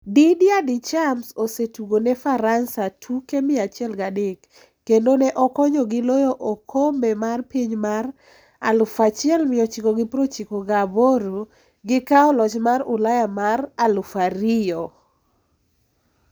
Didier Deschamps osetugo ne Faransa tuke 103, kendo ne okonyogi loyo okombe mar piny mar 1998 gi kawo loch mar Ulaya mar 2000